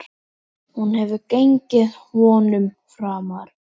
Hún hefur gengið vonum framar.